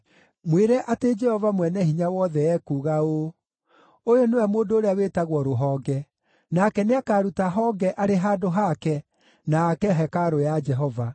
Mwĩre atĩ Jehova Mwene-Hinya-Wothe ekuuga ũũ: ‘Ũyũ nĩwe mũndũ ũrĩa wĩtagwo Rũhonge, nake nĩakaruta honge arĩ handũ haake na ake hekarũ ya Jehova.